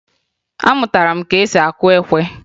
Amụtara m ka esi akụ ekwe